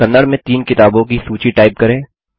कन्नड़ में तीन किताबों की सूची टाइप करें